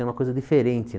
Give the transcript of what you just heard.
É uma coisa diferente